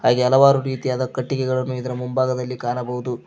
ಹಾಗೆ ಹಲವಾರು ರೀತಿಯಾದ ಕಟ್ಟಿಗೆಗಳನ್ನು ಇದರ ಮುಂಭಾಗದಲ್ಲಿ ಕಾಣಬಹುದು.